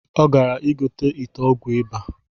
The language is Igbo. Ọ gara igote ite ọgwụ ịba